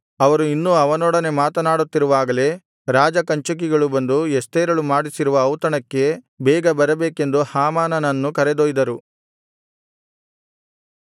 ಅವರು ಇನ್ನೂ ಅವನೊಡನೆ ಮಾತನಾಡುತ್ತಿರುವಾಗಲೇ ರಾಜಕಂಚುಕಿಗಳು ಬಂದು ಎಸ್ತೇರಳು ಮಾಡಿಸಿರುವ ಔತಣಕ್ಕೆ ಬೇಗ ಬರಬೇಕೆಂದು ಹಾಮಾನನನ್ನು ಕರೆದೊಯ್ದರು